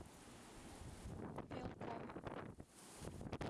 велком